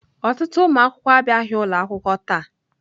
Ọtụtụ ụmụ akwụkwọ abịaghị ụlọ akwụkwọ taa.